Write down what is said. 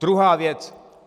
Druhá věc.